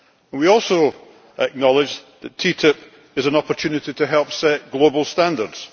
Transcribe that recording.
We also acknowledge that TTIP is an opportunity to help set global standards.